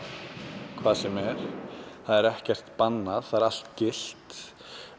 hvað sem er það er ekkert bannað það er allt gilt